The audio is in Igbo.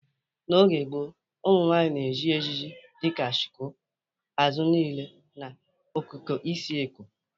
N'oge gboo, ụmụnwaanyị na-eji ejiji dị ka shuku, azụ niile, na okike isi Eko.